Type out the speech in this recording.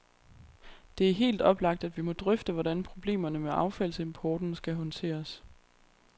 Det er helt oplagt, at vi må drøfte, hvordan problemerne med affaldsimporten skal håndteres.